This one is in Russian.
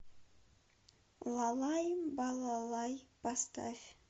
лалай балалай поставь